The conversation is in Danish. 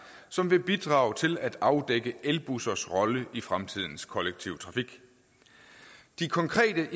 som vil bidrage til at afdække elbussers rolle i fremtidens kollektive trafik de konkrete